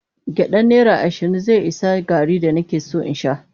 Gyaɗan naira ashirin zai ishe garri da nake son in sha.